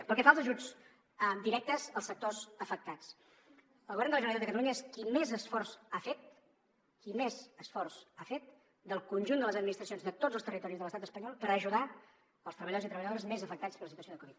pel que fa als ajuts directes als sectors afectats el govern de la generalitat de catalunya és qui més esforç ha fet qui més esforç ha fet del conjunt de les administracions de tots els territoris de l’estat espanyol per ajudar els treballadors i treballadores més afectats per la situació de covid